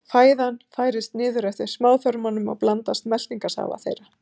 Fæðan færist niður eftir smáþörmum og blandast meltingarsafa þeirra.